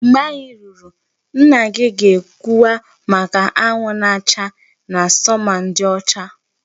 Mgbe anyị ruru, nna gị ga-ekwuwa maka anwụ na-acha na summer ndị ọcha